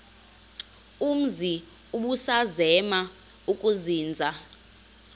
umzi ubusazema ukuzinza